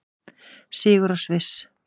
Sigur á Sviss